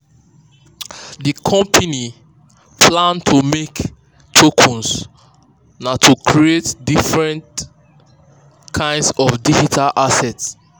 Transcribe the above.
the company um plan um to make tokens na to create different kinds of digital assets.